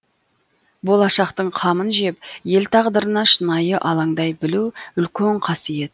болашақтың қамын жеп ел тағдырына шынайы алаңдай білу үлкен қасиет